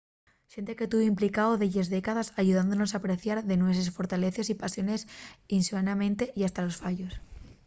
xente que tuvo implicao delles décades ayudónos a apreciar les nueses fortaleces y pasiones inxenuamente y hasta los fallos